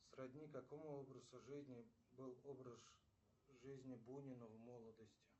сродни какому образу жизни был образ жизни бунина в молодости